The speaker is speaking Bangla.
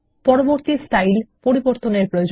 পরবর্তী স্টাইল ডিফল্ট রাখুন